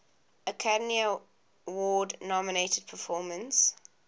academy award nominated performance